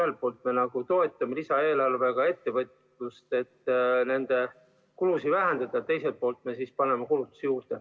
Ühelt poolt me toetame lisaeelarvega ettevõtjaid, et nende kulusid vähendada, aga teiselt poolt me paneme kulutusi juurde.